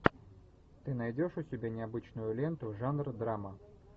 ты найдешь у себя необычную ленту жанр драма